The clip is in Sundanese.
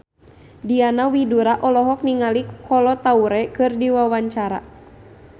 Diana Widoera olohok ningali Kolo Taure keur diwawancara